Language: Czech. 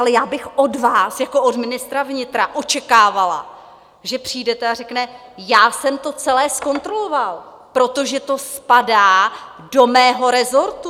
Ale já bych od vás jako od ministra vnitra očekávala, že přijdete a řeknete: já jsem to celé zkontroloval, protože to spadá do mého resortu.